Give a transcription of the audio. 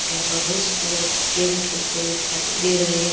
और यहाँ पर बहुत सारे बच्चे गैम खेलते हुए दिखाई दे रहे है।